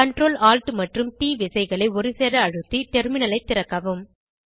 Ctrl Alt மற்றும் ட் விசைகளை ஒருசேர அழுத்தி டெர்மினலை திறக்கவும்